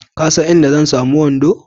Ka san inda zan samu wando?